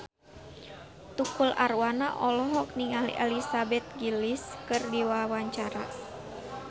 Tukul Arwana olohok ningali Elizabeth Gillies keur diwawancara